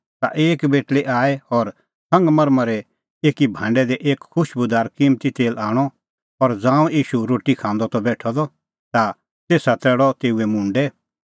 ता एक बेटल़ी आई और संगमरमरे एकी भांडै दी एक खुशबूदार किम्मती तेल आणअ और ज़ांऊं ईशू रोटी खांदअ त बेठअ द ता तेसा तरैल़अ तेऊए मुंडै